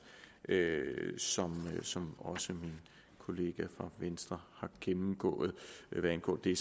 som som også min kollega fra venstre har gennemgået hvad angår det